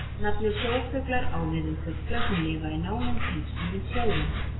Nafnið sjófuglar á við fugla sem lifa í nánum tengslum við sjóinn.